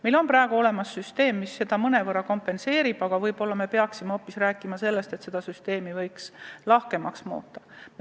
Meil on olemas süsteem, mis seda mõnevõrra kompenseerib, aga ehk peaksime seda süsteemi lahkemaks muutma.